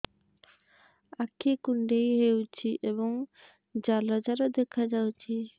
ଆଖି କୁଣ୍ଡେଇ ହେଉଛି ଏବଂ ଜାଲ ଜାଲ ଦେଖାଯାଉଛି